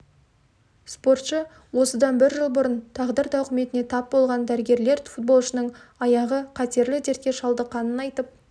спортшы осыдан бір жыл бұрын тағдыр тауқыметіне тап болған дәрігерлер футболшының аяғы қатерлі дертке шалдыққанын айтып